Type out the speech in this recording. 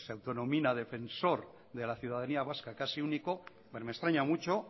auto denomina defensor de la ciudadanía vasca casi único pues me extraña mucho